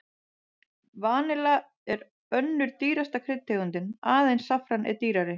Vanilla er önnur dýrasta kryddtegundin, aðeins saffran er dýrara.